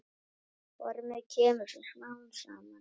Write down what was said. Formið kemur svo smám saman.